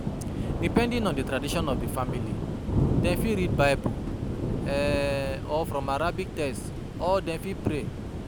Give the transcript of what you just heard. Depending on di tradition of di family, dem fit read bible um or from arabic text or dem fit pray